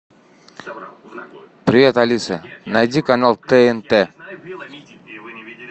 привет алиса найди канал тнт